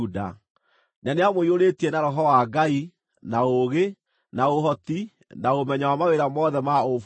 na nĩamũiyũrĩtie na Roho wa Ngai, na ũũgĩ, na ũhoti, na ũmenyo wa mawĩra mothe ma ũbundi